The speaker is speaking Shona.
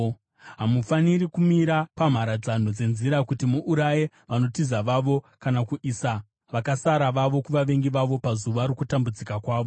Hamufaniri kumira pamharadzano dzenzira, kuti muuraye vanotiza vavo, kana kuisa vakasara vavo kuvavengi vavo, pazuva rokutambudzika kwavo.